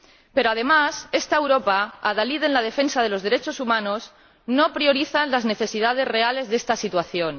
Pero además, esta Europa, adalid en la defensa de los derechos humanos, no prioriza las necesidades reales de esta situación.